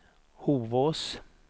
Hovås